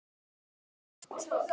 Er það dýrt?